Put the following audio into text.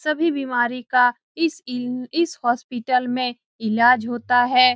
सभी बीमारी का इस इलम इस हॉस्पिटल में इलाज होता है।